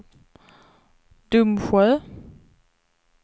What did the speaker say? Domsjö